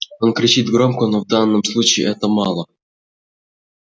он кричит громко но в данном случае этого мало